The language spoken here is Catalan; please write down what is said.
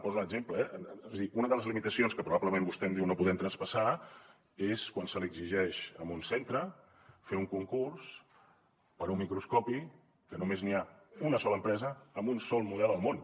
poso un exemple eh és a dir una de les limitacions que probablement vostè em diu que no podem traspassar és quan se li exigeix a un centre fer un concurs per a un microscopi que només hi ha una sola empresa amb un sol model al món